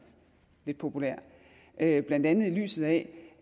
lidt populært det er blandt andet i lyset af